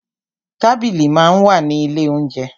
Tábìlì máa ń wà ní ilé óunjẹ.